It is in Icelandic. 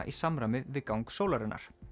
í samræmi við gang sólarinnar